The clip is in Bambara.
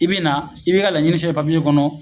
I be na i b'i ka laɲini sɛbɛn papiye kɔnɔ